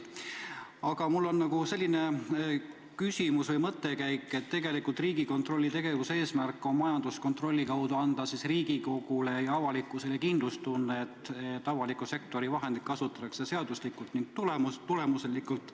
Aga mul on selline küsimus või mõttekäik, et tegelikult Riigikontrolli tegevuse eesmärk on majanduskontrolli kaudu anda Riigikogule ja avalikkusele kindlustunne, et avaliku sektori vahendeid kasutatakse seaduslikult ja tulemuslikult.